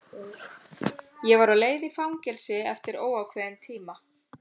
Ég var á leið í fangelsi eftir óákveðinn tíma.